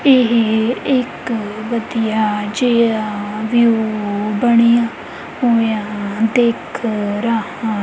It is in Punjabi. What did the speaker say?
ਇਹ ਇੱਕ ਵਧੀਆ ਜਿਹਾ ਵਿਊ ਬਣਿਆ ਹੋਇਆ ਦਿਖ ਰਹਾ--